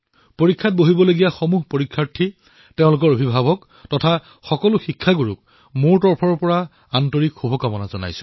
পৰীক্ষা দিবলৈ ওলোৱা সমূহ বিদ্যাৰ্থী তথা তেওঁৰ অভিভাৱক শিক্ষকসকলক মোৰ তৰফৰ পৰা আন্তৰিক শুভকামনা থাকিল